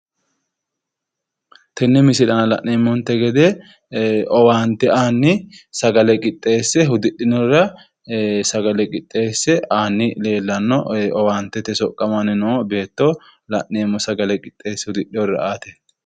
Tenne misile aana la'neemmonte gede owaante aanni sagale qixxeesse hudidhinorira sagale qixxeesse aanni leellanno owaantete soqqamanni noo beetto la'neemmo sagale qixxeesse hudidhinorira aate.